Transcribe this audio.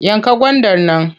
Yanka gwandar nan!